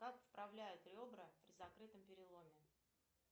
как вправляют ребра при закрытом переломе